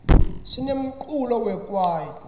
sinemculo wekwaito